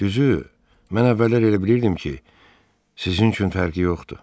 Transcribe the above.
Düzü, mən əvvəllər elə bilirdim ki, sizin üçün fərqi yoxdur.